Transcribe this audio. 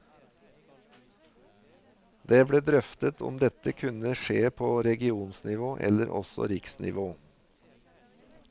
Det ble drøftet om dette kunne skje på regionsnivå eller også riksnivå.